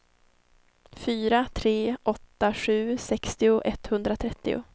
fyra tre åtta sju sextio etthundratrettio